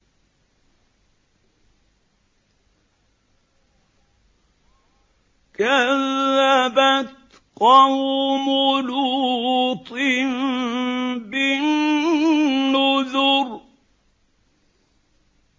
كَذَّبَتْ قَوْمُ لُوطٍ بِالنُّذُرِ